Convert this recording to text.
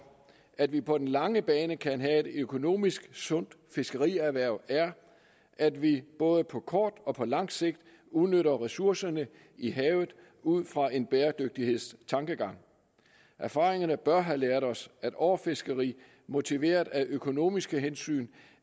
at vi på den lange bane kan have et økonomisk sundt fiskerierhverv er at vi både på kort og på lang sigt udnytter ressourcerne i havet ud fra en bæredygtighedstankegang erfaringerne bør have lært os at overfiskeri motiveret af økonomiske hensyn